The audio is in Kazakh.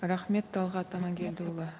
рахмет талғат аманкелдіұлы